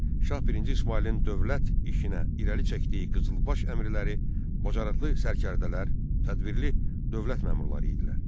Şah birinci İsmayılın dövlət işinə irəli çəkdiyi qızılbaş əmrləri bacarıqlı sərkərdələr, tədbirli dövlət məmurları idilər.